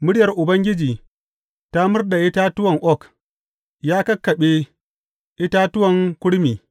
Muryar Ubangiji ta murɗa itatuwan oak ya kakkaɓe itatuwan kurmi.